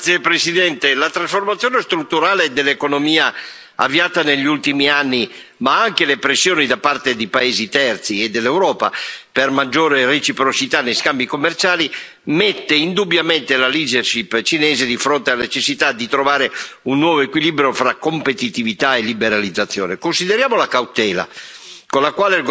Signor Presidente, onorevoli colleghi, la trasformazione strutturale dell'economia avviata negli ultimi anni, ma anche le pressioni da parte di paesi terzi e dell'Europa per una maggiore reciprocità negli scambi commerciali, mettono indubbiamente la leadership cinese di fronte alla necessità di trovare un nuovo equilibrio fra competitività e liberalizzazione. Consideriamo la cautela